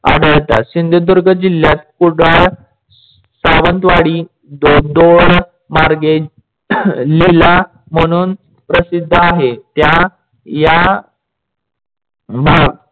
आढळतात. सिंधुदुर्ग जिल्ह्यात कुडाळ, सावंतवाडी दोन मार्गे लीला म्हणून प्रसिद्ध आहे. त्या या